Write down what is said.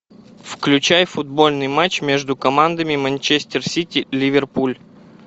включай футбольный матч между командами манчестер сити ливерпуль